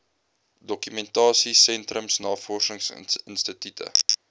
dokumentasie sentrums navorsingsinstitute